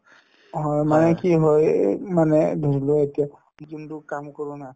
অ, হয় মানে কি হয় এই মানে বুজিলো এতিয়া যোনতো কাম কৰো না